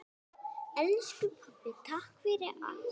Elsku pabbi, takk fyrir allt.